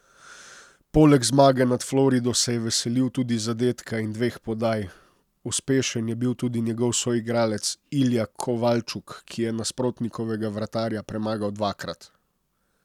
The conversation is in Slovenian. Poleg zmage nad Florido se je veselil tudi zadetka in dveh podaj, Uspešen je bil tudi njegov soigralec Ilja Kovalčuk, ki je nasprotnikovega vratarja premagal dvakrat.